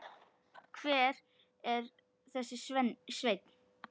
Hver er þessi Sveinn?